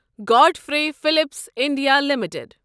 Godfrey Phillips India limited